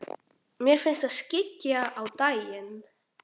Mér finnst það skyggja á daginn.